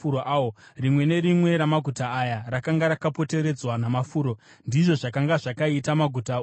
Rimwe nerimwe ramaguta aya rakanga rakapoteredzwa namafuro; ndizvo zvakanga zvakaita maguta ose aya.